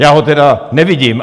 Já ho tedy nevidím.